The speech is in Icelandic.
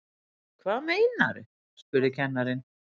Hvað meinarðu? spurði kennarinn.